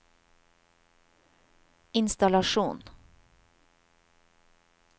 innstallasjon